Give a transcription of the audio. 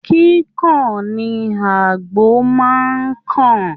Kíkan ni àgbò máa ń kàn